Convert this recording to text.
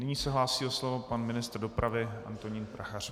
Nyní se hlásí o slovo pan ministr dopravy Antonín Prachař.